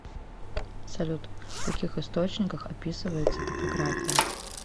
салют в каких источниках описывается топография